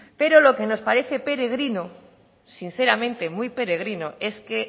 pero lo que nos parece peregrino sinceramente muy peregrino es que